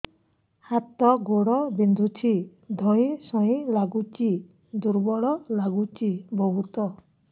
ହାତ ଗୋଡ ବିନ୍ଧୁଛି ଧଇଁସଇଁ ଲାଗୁଚି ଦୁର୍ବଳ ଲାଗୁଚି ବହୁତ